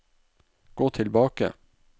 gå tilbake